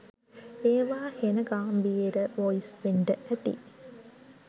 ඒවා හෙණ ගාම්බීර වොයිස් වෙන්ඩ ඇති